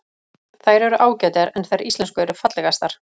Þær eru ágætar, en þær íslensku eru fallegastar.